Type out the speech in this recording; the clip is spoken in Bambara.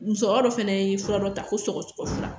Musɔkɔrɔ ye fura dɔ ta fo sɔgɔsɔgɔ la